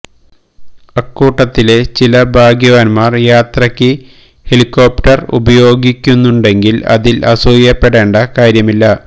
അക്കൂട്ടത്തിലെ ചില ഭാഗ്യവാൻമാർ യാത്രക്ക് ഹെലികോപ്റ്റർ ഉപയോഗിക്കുന്നുണ്ടെങ്കിൽ അതിൽ അസൂയപ്പെടേണ്ട കാര്യമില്ല